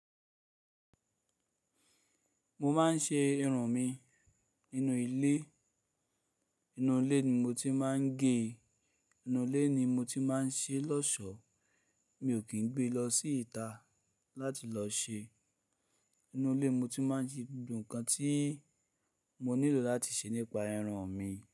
Mo máa ń ṣe irun mi nínú ilé. Inú ilé ni mo ti máa ń ge. Inú ilé ni mo ti máa ń ṣe lọ́ṣọ̀ọ́. Mi ò kín gbé lọ sí ìta láti lọ ṣe. Inú ilé mo ti máa ń ṣe gbogbo nǹkan tí mo nílò láti ṣe nípa irun mi.